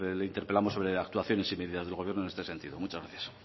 le interpelamos sobre actuaciones y medidas de gobierno en este sentido muchas gracias